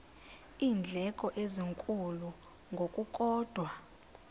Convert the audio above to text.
iindleko ezinkulu ngokukodwa